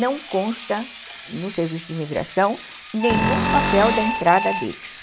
Não consta no serviço de imigração nenhum papel da entrada deles.